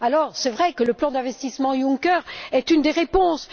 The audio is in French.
Alors, c'est vrai que le plan d'investissement Juncker est une des réponses.